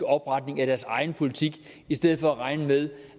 opretning af deres egen politik i stedet for at regne med